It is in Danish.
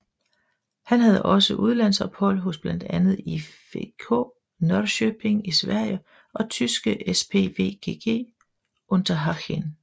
Han havde også udlandsophold hos blandt andet IFK Norrköping i Sverige og tyske SpVgg Unterhaching